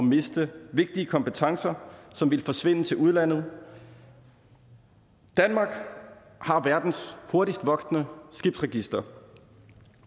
miste vigtige kompetencer som ville forsvinde til udlandet danmark har verdens hurtigst voksende skibsregister